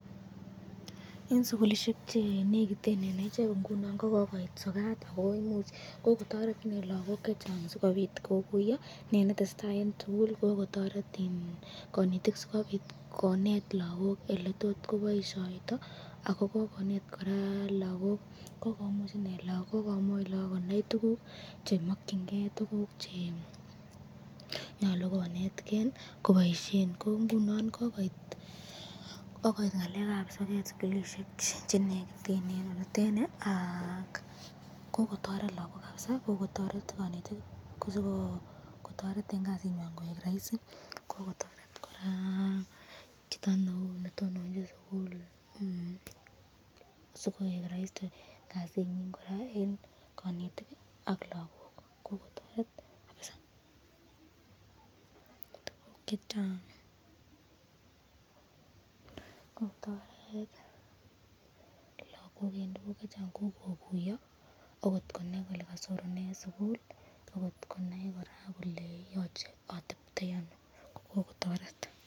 Eng sukulishek chenekiten eng echek ko kokoit sokat , kikotoret lagok chechang sikopit kokuyo ne netesetai eng sukul akototet konetik sikobit konet lagok eletok koboisyoyto ako kokonet koraa be eng kasitab lakok koek raisi